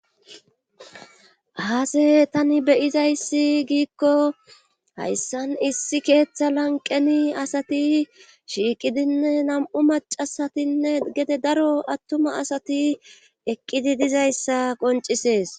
Aase tani beyizayssi giikko hayssan issi keeththa lanqeni asati shiiqidinne nam'u macasatinne gede daro attuma asati eqqidi dizayssa qoncisees.